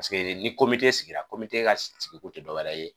Paseke ni sigira ka sigi ko tɛ dɔwɛrɛ ye